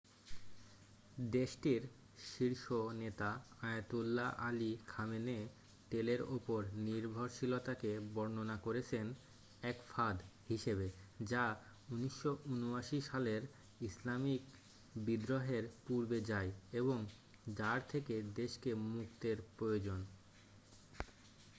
"দেশটির শীর্ষ নেতা আয়াতোল্লাহ আলি খামেনেই তেলের ওপর নির্ভরশীলতাকে বর্ননা করেছেন "এক ফাঁদ" হিসেবে যা ১৯৭৯ সালের ইসলামিক বিদ্রোহের পূর্বে যায় এবং যার থেকে দেশকে মুক্তের প্রয়োজন।